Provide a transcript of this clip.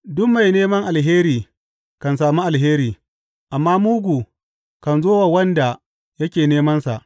Duk mai nema alheri kan sami alheri, amma mugu kan zo wa wanda yake nemansa.